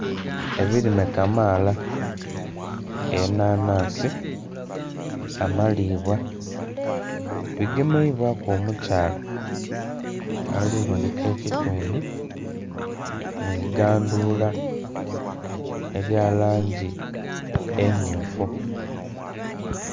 Ebirime kamaala enanhansi, amalibwa bigemeibwaku omukyaala ali bonheka ekitundhu mwigandhula erya langi emmyufu.